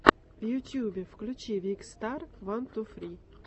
в ютюбе включи викстар ван ту фри